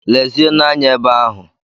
Lezienụ anya ebe ahụ!